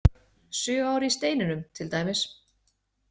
Sjö ár í steininum, til dæmis.